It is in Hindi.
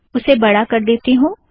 उसे बढ़ा कर देती हूँ